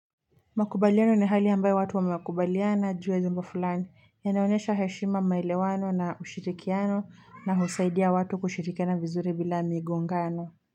Makubaliano ni hali ambayo watu wa wamekubaliana juu ya jambo fulani na inaonyesha heshima maelewano na ushirikiano na husaidia watu kushirikiana vizuri bila migongano.